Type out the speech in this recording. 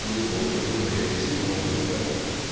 грубо очень грубо ей объяснил но суть в этом